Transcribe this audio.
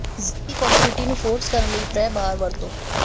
ਜ਼ਿੱਦੀ ਕੋਂਕ੍ਰਿਟੀ ਨੂੰ ਫੋਰਸ ਕਰਨ ਲਈ ਪ੍ਰੈ ਬਾਰ ਵਰਤੋ